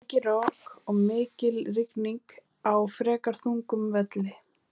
Mikið rok og mikil rigning á frekar þungum velli.